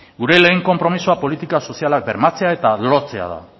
gure lehen konpromisoa politika sozialak bermatzea eta lortzea da